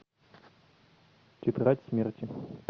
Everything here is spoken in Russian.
тетрадь смерти